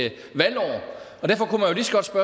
et valgår